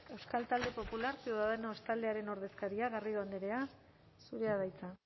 euskal talde popular ciudadanos taldearen ordezkaria garrido andrea zurea da hitza